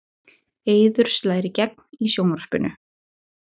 Eiður slær í gegn í sjónvarpinu